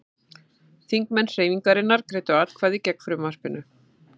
Þingmenn Hreyfingarinnar greiddu atkvæði gegn frumvarpinu